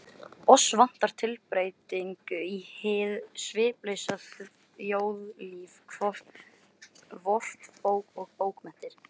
Oss vantar tilbreytingu í hið sviplausa þjóðlíf vort og bókmenntir.